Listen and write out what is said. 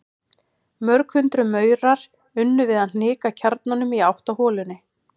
Mörg hundruð maurar unnu við að hnika kjarnanum í átt að holunni.